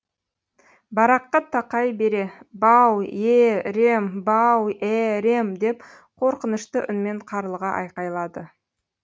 бараққа тақай бере бау е е рем бау е ерем деп қорқынышты үнмен қарлыға айқайлады